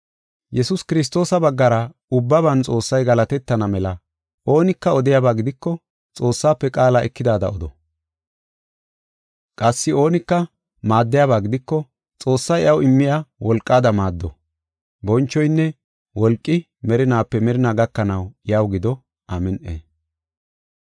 Yesuus Kiristoosa baggara ubbaban Xoossay galatetana mela oonika odiyaba gidiko Xoossaafe qaala ekidaada odo. Qassi oonika maaddiyaba gidiko Xoossay iyaw immiya wolqaada maaddo. Bonchoynne wolqi merinaape merina gakanaw iyaw gido. Amin7i.